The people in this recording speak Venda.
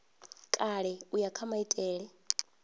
kale u ya kha maitele